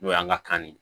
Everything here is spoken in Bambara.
N'o y'an ka kan de ye